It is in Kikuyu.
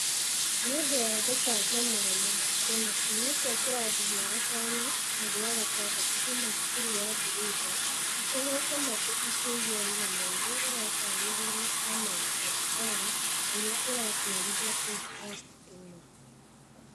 Nĩ ũndũ wa gũcanjamũra mũno kuona ciana cia kĩrathi gĩa gatano na gĩa gatandatũ kuuma cukuru wa Birunda itegeete matũ ikĩigua rũgano rũrĩa rũtaarĩirio nĩ Ahmed Abdallah ũrĩa ũratwarithia podikasti ĩno.